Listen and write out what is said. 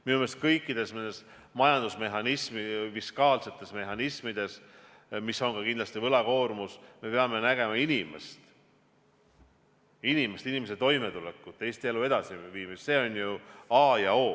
Minu meelest kõikides nendes majandusmehhanismides, fiskaalsetes mehhanismides, milleks on kindlasti ka võlakoormus, me peame nägema inimest, inimese toimetulekut, Eesti elu edasiviimist, see on ju a ja o.